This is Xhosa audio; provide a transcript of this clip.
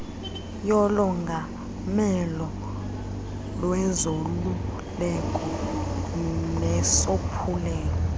yolongamelo lwezoluleko nesophulelo